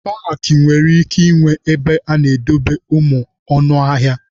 Paakị nwere ike ịnwe ebe ana-edobe ụmụ anụ ọhịa.